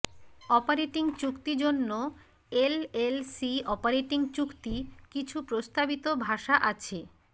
operating চুক্তি জন্য LLC operating চুক্তি কিছু প্রস্তাবিত ভাষা আছে